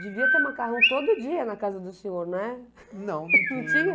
Devia ter macarrão todo dia na casa do senhor, né? Não, não podia